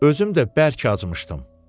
Özüm də bərk acmışdım.